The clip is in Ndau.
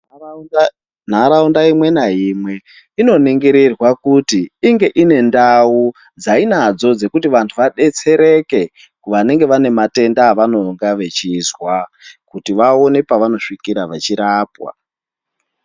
Nharaunda imwe naimwe inoningirirwa kuti inge ine ndau dzainadzo kuti vanhu vadetsereke vanenge vane matenda avanonga vachizwa kuti vaone pevanosvikira vechirapwa.